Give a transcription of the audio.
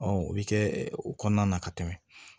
o bɛ kɛ o kɔnɔna na ka tɛmɛ